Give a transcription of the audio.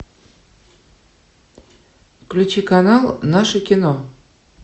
включи канал наше кино